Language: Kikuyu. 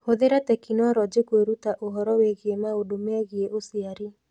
Hũthĩra tekinoronjĩ kwĩruta ũhoro wĩgiĩ maũndũ megiĩ ũciari.